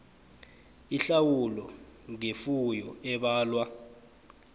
ihlawulo ngefuyo ebalwa